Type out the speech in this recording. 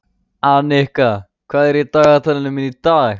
Annika, hvað er í dagatalinu mínu í dag?